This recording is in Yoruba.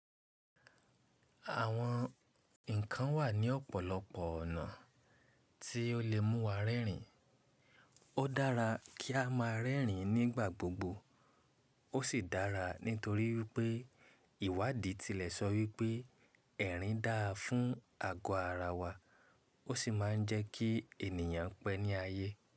Àwọn nǹkan wà ní ọ̀pọ̀lọpọ̀ ọ̀nà tí ó lè mú wa rẹ́rìn. Ó dára kí á má a rẹ́rìn nígbà gbogbo. Ó sì dára nítorí wipé ìwádìí tilẹ̀ sọ wípé, ẹ̀rìn dáa fún àgọ́ ara wa ó sì máa ń jẹ́ kí ènìyàn pẹ́ ní ayé.